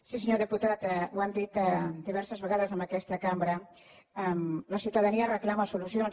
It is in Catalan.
sí senyor diputat ho hem dit diverses vegades en aquesta cambra la ciutadania reclama solucions